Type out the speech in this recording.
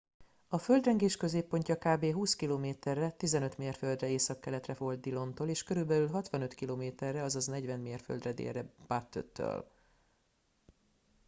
a földrengés középpontja kb. 20 km-re 15 mérföldre északkeletre volt dillontól és körülbelül 65 km-re 40 mérföldre délre butte-től